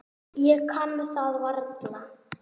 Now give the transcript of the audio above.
Ég kann það varla.